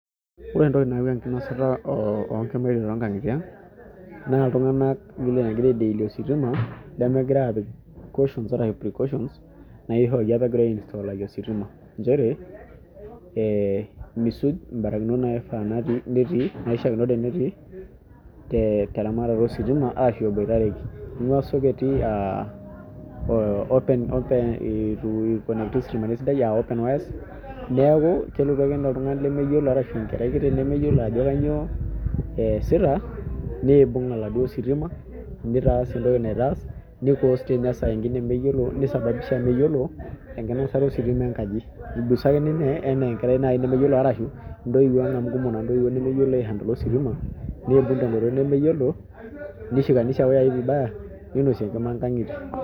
Koree entoki nayau enkinosata oo nkimaitie too nkangitie aang, naa iltung'ana loogira aai deal wositima lemegira aapik precautions naaishoruaki apa egirai ai install ositima, nchere, eh misuj mbarakinot naifaa netii teramatare ositima aashu eboitareki ninguaa sockets uh open wires. Neaku kelotu ake ninye oltung'ani lemeyiolo aashu enkerai kiti nemeyiolo ajo nyoo eesita, niibung' oladuo sitima, nitaas entoki naitaas, nisababisha meyiolo enkinosata ositima enkaji. Igusa ake ninye enaa enkerai nemeyiolo arashu intoiwuo amu kumok naa intoiwuo nemeyiolo aaihandola ositima, niibung' te nkoitoi nemeyiolo, nishikanisha wayai vibaya.